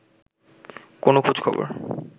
কোনো খোঁজ-খবর